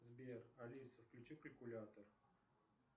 сбер алиса включи калькулятор